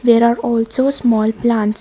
there are also small plants.